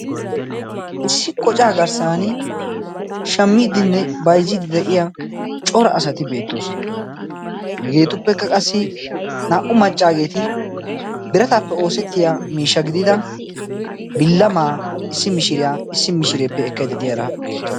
Issi qocaa garssan shamiidinne baizziiddi dei'ya cora asati beettoosona hegeetuppekka qassi naa"u maccaageeti birataappe oosettiya miishsha gidida billa maa issi mishiriyaa issi mishireeppe ekkai dediyaara beetto